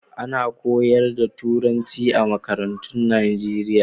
Ana koyarwa da Turanci a makarantun Najeriya.